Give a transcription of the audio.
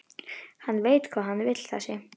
Hann veit hvað hann vill þessi!